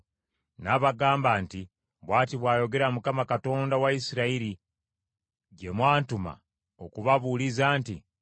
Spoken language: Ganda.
N’abagamba nti, “Bw’ati bw’ayogera Mukama , Katonda wa Isirayiri, gye mwantuma okubabuuliza nti,